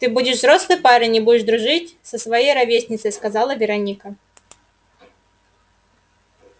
ты будешь взрослый парень и будешь дружить со своей ровесницей сказала вероника